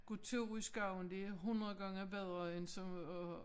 Kunne tage ud i skoven det er 100 gange bedre end sådan at